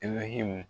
I bɛ hami